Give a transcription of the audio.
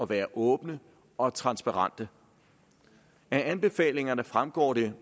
være åbne og transparente af anbefalingerne fremgår det